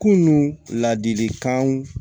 Kunun ladilikanw